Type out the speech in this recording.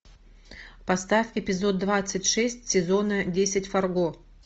поставь эпизод двадцать шесть сезона десять фарго